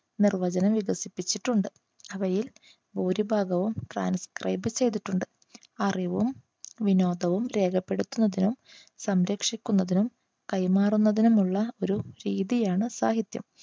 നിർവചനം വികസിപ്പിച്ചിട്ടുണ്ട്. അവയിൽ ഭൂരിഭാഗവും transcribe ചെയ്തിട്ടുണ്ട് അറിവും വിനോദവും രേഖപ്പെടുത്തുന്നതിനും സംരക്ഷിക്കുന്നതിനും കൈമാറുന്നതിനും ഉള്ള ഒരു രീതിയാണ് സാഹിത്യം.